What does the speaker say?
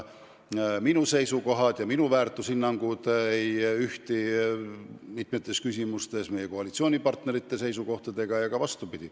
Minu seisukohad ja minu väärtushinnangud ei ühti mitmes küsimuses meie koalitsioonipartnerite seisukohtadega.